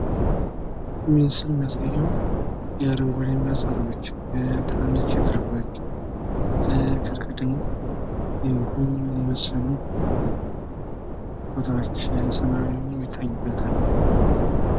ይህ ምስል የሚያሳየው የአረንጓዴማ እጽዋቶች፣ ትናንሽ ችፍርጎች፣ ከርቀት ደሞ ጉም የመሰሉ ቦታዎች፣ ሰማዩም ይታዩበታል።